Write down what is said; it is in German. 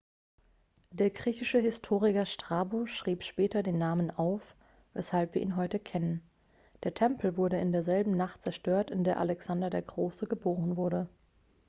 der griechische historiker strabo schrieb später den namen auf weshalb wir ihn heute kennen der tempel wurde in derselben nacht zerstört in der alexander der große geboren wurde